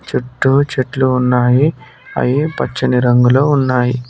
చుట్టూ చెట్లు ఉన్నాయి అయి పచ్చని రంగులో ఉన్నాయ్.